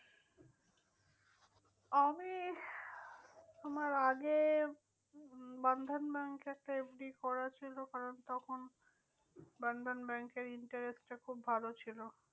আমি আমার আগে বন্ধন ব্যাঙ্কে একটা FD করা ছিল। কারণ তখন বন্ধন ব্যাঙ্কের interest টা খুব ভালো ছিল।